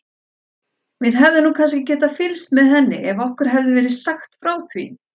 Við hefðum nú kannski getað fylgst með henni ef okkur hefði verið sagt frá því.